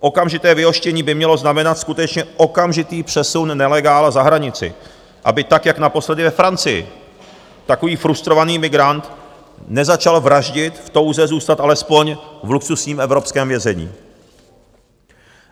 Okamžité vyhoštění by mělo znamenat skutečně okamžitý přesun nelegála za hranici, aby tak jako naposledy ve Francii takový frustrovaný migrant nezačal vraždit v touze zůstat alespoň v luxusním evropském vězení.